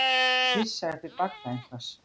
Að pissa upp í bagga einhvers